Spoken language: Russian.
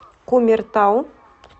кумертау